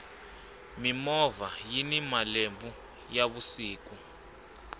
mimovha yini malambhu ya vusiku